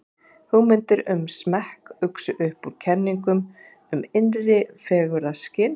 hugmyndir um smekk uxu upp úr kenningum um innra fegurðarskyn